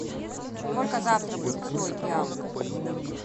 сколько завтра будет стоить реал